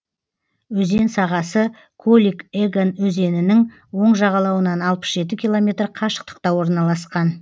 өзен сағасы колик еган өзенінің оң жағалауынан алпыс жеті километр қашықтықта орналасқан